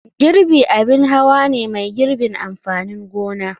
Girbi abin hawa ne mai girbin amfanin gona.